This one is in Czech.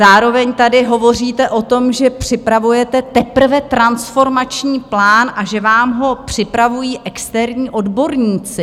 Zároveň tady hovoříte o tom, že připravujete teprve transformační plán a že vám ho připravují externí odborníci.